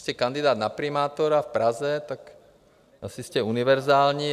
Jste kandidát na primátora v Praze, tak asi jste univerzální.